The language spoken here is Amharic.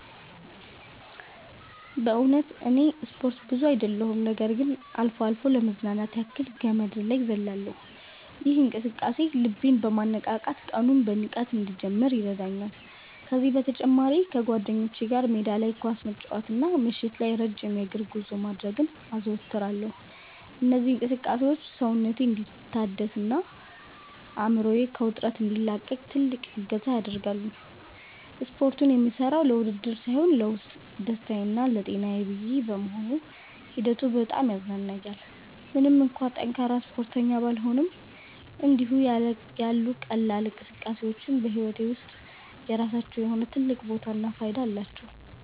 በእውነቱ እኔ ስፖርት ብዙ አይደለሁም ነገር ግን አልፎ አልፎ ለመዝናናት ያክል ገመድ ዝላይ እዘልላለሁ። ይህ እንቅስቃሴ ልቤን በማነቃቃት ቀኑን በንቃት እንድጀምር ይረዳኛል። ከዚህም በተጨማሪ ከጓደኞቼ ጋር ሜዳ ላይ ኳስ መጫወትና ምሽት ላይ ረጅም የእግር ጉዞ ማድረግን አዘወትራለሁ። እነዚህ እንቅስቃሴዎች ሰውነቴ እንዲታደስና አእምሮዬ ከውጥረት እንዲላቀቅ ትልቅ እገዛ ያደርጋሉ። ስፖርቱን የምሠራው ለውድድር ሳይሆን ለውስጥ ደስታዬና ለጤናዬ ብዬ በመሆኑ ሂደቱ በጣም ያዝናናኛል። ምንም እንኳን ጠንካራ ስፖርተኛ ባልሆንም፣ እንዲህ ያሉ ቀላል እንቅስቃሴዎች በሕይወቴ ውስጥ የራሳቸው የሆነ ትልቅ ቦታና ፋይዳ አላቸው።